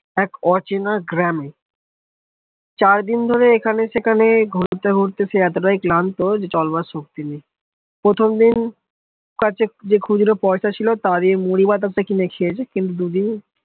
এক অচেনা গ্রাম চার দিন ধরে এখানে সেখানে ঘুরতে ঘুরতে এতটাই ক্লান্ত যে চলবার শক্তি নেই প্রথম দিন কাটছে যে খুদরা পয়সা ছিল তার ঐ মুড়ি বাদাম টা কিনে খেয়েছে কিন্তু দুদিন